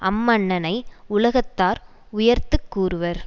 அம்மன்னனை உலகத்தார் உயர்த்து கூறுவர்